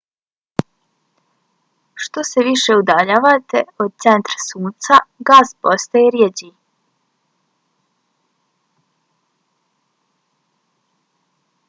što se više udaljavate od centra sunca gas postaje rjeđi